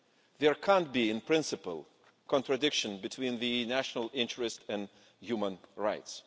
There can't be, in principle, a contradiction between the national interest and human rights.